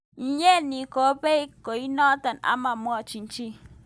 Mnyeni koibei kainotik ama mwochi chi.